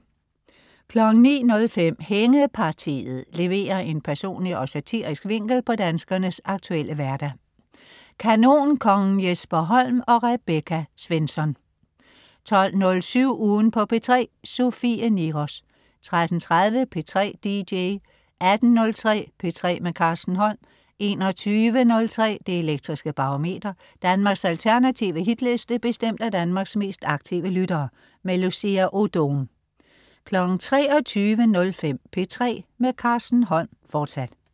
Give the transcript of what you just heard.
09.05 Hængepartiet. Leverer en personlig og satirisk vinkel på danskernes aktuelle hverdag. Kanonkongen Jesper Holm og Rebecca Svensson 12.07 Ugen på P3. Sofie Niros 13.30 P3 dj 18.03 P3 med Carsten Holm 21.03 Det Elektriske Barometer. Danmarks alternative Hitliste bestemt af Danmarks mest aktive lyttere. Lucia Odoom 23.05 P3 med Carsten Holm, fortsat